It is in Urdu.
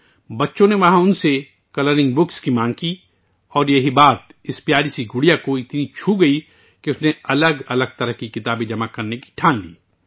وہاں کے بچوں نے اس سے رنگین کتابیں مانگیں اور اس بات سے یہ پیاری گڑیا سے اس قدر متاثر ہوئی کہ اس نے مختلف قسم کی کتابیں جمع کرنے کا فیصلہ کیا